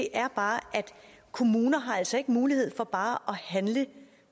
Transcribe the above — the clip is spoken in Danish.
er bare at kommuner altså ikke har mulighed for bare